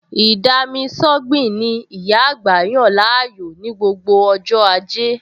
Ì-dami-sọ́gbìn ni ìyá àgbà yàn láàyò ní gbogbo ọj́ ajẹ́